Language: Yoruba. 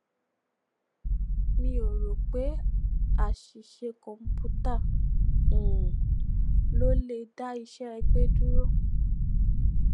mi ò ro pé aṣìṣe kọǹpútà um ló le dá iṣẹ ẹgbé dúró